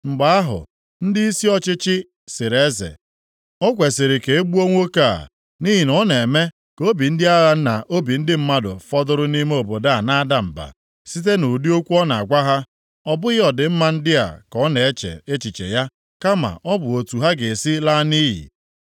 Mgbe ahụ, ndịisi ọchịchị sịrị eze, “O kwesiri ka e gbuo nwoke a, nʼihi na ọ na-eme ka obi ndị agha na obi ndị mmadụ fọdụrụ nʼime obodo a na-ada mba site nʼụdị okwu ọ na-agwa ha. Ọ bụghị ọdịmma ndị a ka ọ na-eche echiche ya, kama ọ bụ otu ha ga-esi laa nʼiyi.”